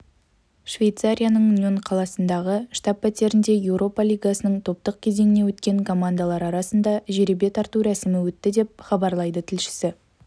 швейцарияның ньон қаласындағы штаб пәтерінде еуропа лигасының топтық кезеңіне өткен командалар арасында жеребе тарту рәсімі өтті деп хабарлайды тілшісі